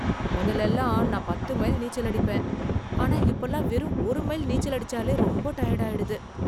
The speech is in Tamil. முதல்ல எல்லாம் நான் பத்து மைல் நீச்சல் அடிப்பேன், ஆனா இப்பெல்லாம் வெறும் ஒரு மைல் நீச்சல் அடிச்சாலே ரொம்ப டயர்டாயிடுது.